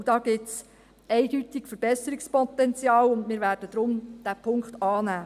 Und da gibt es eindeutig Verbesserungspotenzial, und deshalb werden wir diesen Punkt annehmen.